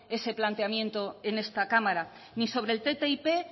ese planteamiento en esta cámara ni sobre el ttip